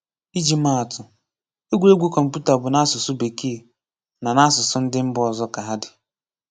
Ịji màa àtụ̣, egwuregwu kọ̀mpútà bụ́ n’asụ̀sụ́ Békèe na n’asụ̀sụ́ ndị mba ọ̀zọ̀ ka hà dị.